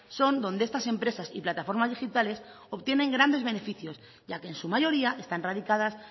son donde estas empresas y plataformas digitales obtienen grandes beneficios ya que en su mayoría están radicadas